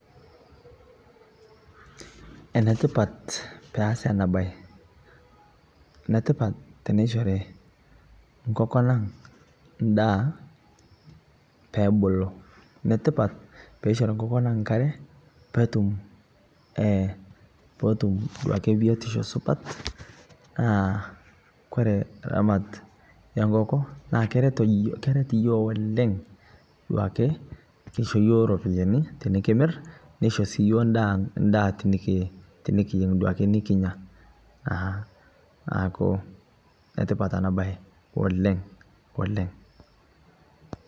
Enetipat peasii ana bai netipat teneishorii nkokonang ndaa peebulu netipat peishori nkokon ang nkaree peetum duake biotisho supat naa Kore Ramat enkokoo naa keret yooh oleng duake keisho yoo ropiyani tinikimar neisho sii yoo ndaa tinikiyeng duake nikinyaa naaku netipat anaa bai oleng oleng